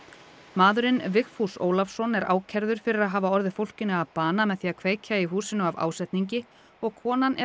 maðurinn Vigfús Ólafsson er ákærður fyrir að hafa orðið fólkinu að bana með því að kveikja í húsinu af ásetningi og konan er